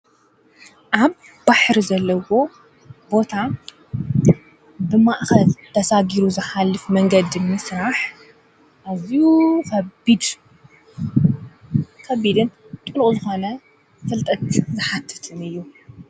ኣብ ባሕሪ ዘለዎ ቦታ ብማእኸት ተሳጊሩ ዝኃልፍ መንገድ ም ሥራሕ ኣዙ ኸቢድ ከቢድን ጥልቕ ዝኾነ ፍልጠት ዘሓትትን እዩ።